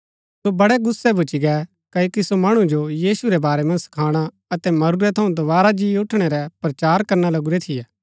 सो बड़ै गुस्सै भूच्ची गै क्ओकि सो मणु जो यीशु रै बारै मन्ज सखाणा अतै मरूरै थऊँ दोवारा जी उठणै रै प्रचार करना लगुरै थियै